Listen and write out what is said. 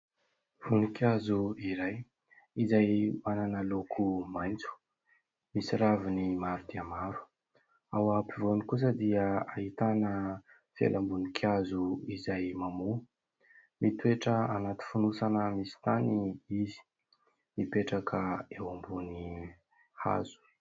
Voninkazo iray izay manana loko maitso, misy raviny maro dia maro. Ao ampovoany kosa dia ahitana felam-boninkazo izay mamoa. Mitoetra anaty fonosana misy tany izy, mipetraka eo ambony hazo.